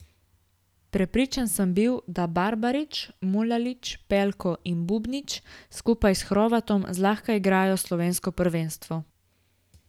Prepričan sem bil, da Barbarič, Mulalić, Pelko in Bubnić skupaj s Hrovatom zlahka igrajo slovensko prvenstvo.